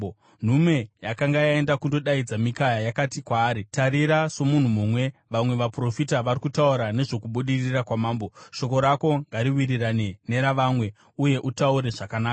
Nhume yakanga yaenda kundodaidza Mikaya yakati kwaari, “Tarira, somunhu mumwe vamwe vaprofita vari kutaura nezvokubudirira kwamambo. Shoko rako ngariwirirane neravamwe, uye utaure zvakanaka.”